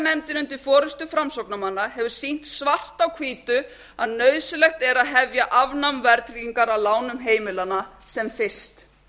verðtryggingarnefndin undir forustu framsóknarmanna hefur sýnt svart á hvítu að nauðsynlegt er að hefja afnám verðtryggingar á lánum heimilanna sem fyrst